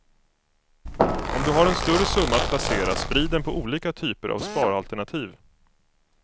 Om du har en större summa att placera, sprid den på olika typer av sparalternativ.